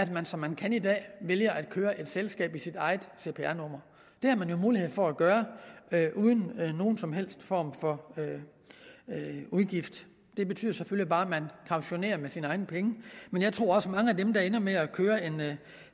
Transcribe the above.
man som man kan i dag vælge at køre et selskab i sit eget cpr nummer det har man jo mulighed for at gøre uden nogen som helst form for udgift det betyder selvfølgelig bare at man kautionerer med sine egne penge men jeg tror også at mange af dem der ender med at køre en